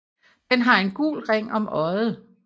Den har en gul ring om øjet